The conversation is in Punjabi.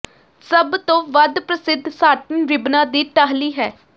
ਸਭ ਤੋਂ ਵੱਧ ਪ੍ਰਸਿੱਧ ਸਾਟਿਨ ਰਿਬਨਾਂ ਦੀ ਟਾਹਲੀ ਹੈ